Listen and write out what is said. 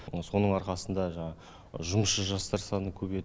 соның арқасында жаңағы жұмысшы жастар саны көбейеді